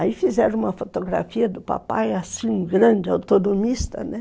Aí fizeram uma fotografia do papai, assim, grande, autonomista, né?